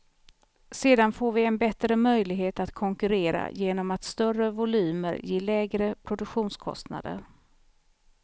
Sedan får vi en bättre möjlighet att konkurrera genom att större volymer ger lägre produktionskostnader.